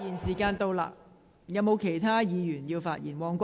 是否有其他議員想發言？